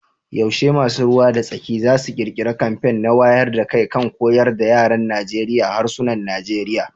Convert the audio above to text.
Yaushe masu ruwa da tsaki za su kirkiri kamfen na wayar da kai kan koyar da yaran Najeriya harsunan Nigeriya